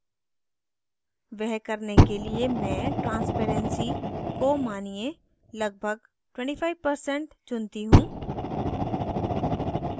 वह करने के लिए मैं transparency को मानिये लगभग 25% चुनती choose